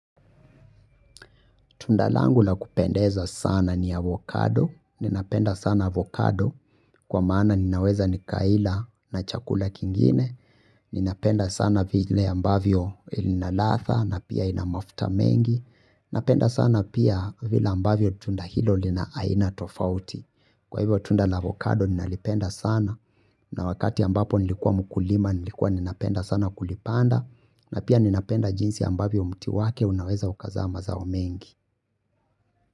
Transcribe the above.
Tunda langu la kupendeza sana ni avocado, ninapenda sana avocado kwa maana ninaweza ni kaila na chakula kingine, ninapenda sana vile ambavyo ina latha na pia ina mafuta mengi, ninapenda sana pia vile ambavyo tunda hilo lina aina tofauti. Kwa hivyo tunda na avocado ninalipenda sana na wakati ambapo nilikuwa mukulima nilikua ninapenda sana kulipanda na pia ninapenda jinsi ambavyo muti wake unaweza ukazama zao mengi.